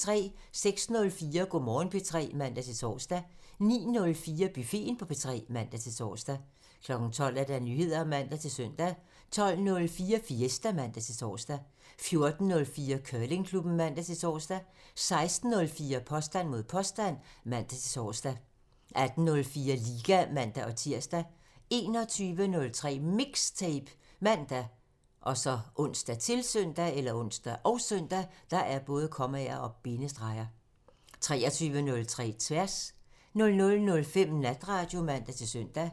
06:04: Go' Morgen P3 (man-tor) 09:04: Buffeten på P3 (man-tor) 12:00: Nyheder (man-søn) 12:04: Fiesta (man-tor) 14:04: Curlingklubben (man-tor) 16:04: Påstand mod påstand (man-tor) 18:04: Liga (man-tir) 21:03: MIXTAPE ( man, ons, -søn) 23:03: Tværs (man) 00:05: Natradio (man-søn)